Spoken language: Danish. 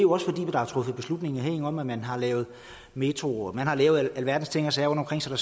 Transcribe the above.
jo også fordi der er truffet beslutninger herinde om at man har lavet metro man har lavet alverdens ting og sager rundtomkring så